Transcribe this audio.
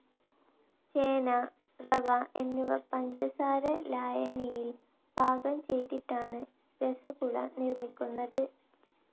ചെന, റവ എന്നിവ പഞ്ചസാര ലായനിയിൽ പാകം ചെയ്തിട്ടാണ് രസഗുള നിർമ്മിക്കുന്നത്.